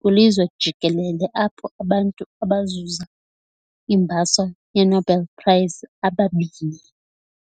kwilizwe jikelele apho abantu abazuza imbhaso yeNobel Prize ababini.